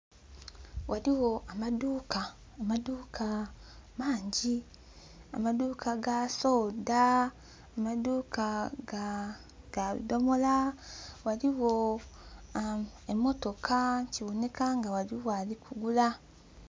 Ghaligho amadhuka amadhuka mangi amadhuka ga soda, amadhuka gaa bidomola. Ghaligho emotoka kiboneka nga ghaligho ali kugula.